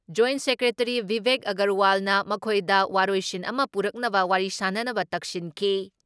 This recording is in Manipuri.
ꯖꯣꯏꯟ ꯁꯦꯀ꯭ꯔꯦꯇꯔꯤ ꯚꯤꯕꯦꯛ ꯑꯒꯔꯋꯥꯜꯅ ꯃꯈꯣꯏꯗ ꯋꯥꯔꯣꯏꯁꯤꯟ ꯑꯃ ꯄꯨꯔꯛꯅꯕ ꯋꯥꯔꯤ ꯁꯥꯟꯅꯅꯕ ꯇꯛꯁꯤꯟꯈꯤ ꯫